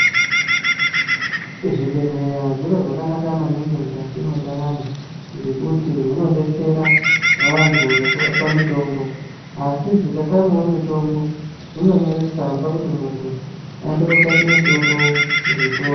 Zvibhedhlera zviro zvakanaka maningi mukati mwendaramo ngekuti zvinodetsera vantu nekuvapa mitombo asizvikatamawo mitombo zvinonyore tsamba kuti muntu aende kotsvake mitombo muzvitoro.